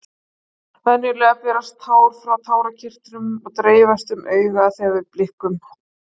venjulega berast tár frá tárakirtlum og dreifast um augað þegar við blikkum